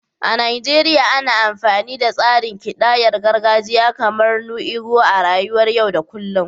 A Najeriya, ana amfani da tsarin kidayar gargajiya kamar "nnu ego" a rayuwar yau da kullum.